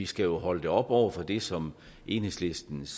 skal jo holde det op over for det som enhedslistens